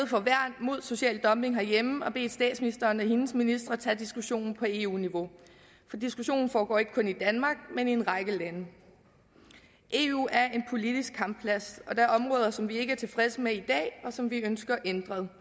for værn mod social dumping herhjemme og bedt statsministeren og hendes ministre tage diskussionen på eu niveau for diskussionen foregår ikke kun i danmark men i en række lande eu er en politisk kampplads og er områder som vi ikke er tilfredse med i dag og som vi ønsker ændret